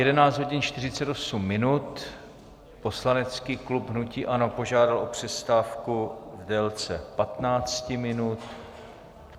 Je 11 hodin 48 minut, poslanecký klub hnutí ANO požádal o přestávku v délce 15 minut.